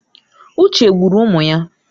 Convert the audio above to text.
Uche gburu ụmụ ya.